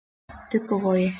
Dugguvogi